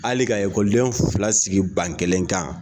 Hali ka ekɔliden fila sigi ban kelen kan.